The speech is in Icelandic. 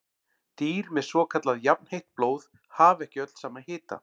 Dýr með svokallað jafnheitt blóð hafa ekki öll sama hita.